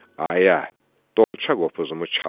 Ayə, dolça qopuzumu çalın.